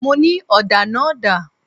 Mo ní: Ọ̀dà náà dà?